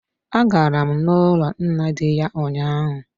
A garam n'ụlọ nna di ya ụnyaahụ.